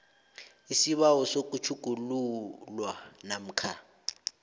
isibawo sokutjhugululwa namkha